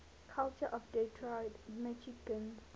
culture of detroit michigan